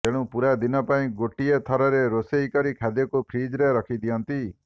ତେଣୁ ପୂରା ଦିନ ପାଇଁ ଗୋଟିଏ ଥରରେ ରୋଷେଇ କରି ଖାଦ୍ୟକୁ ଫ୍ରିଜ୍ରେ ରଖି ଦିଅନ୍ତି